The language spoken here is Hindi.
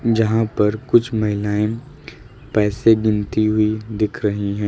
जहां पर कुछ महिलाएं पैसे गिनती हुई दिख रही है।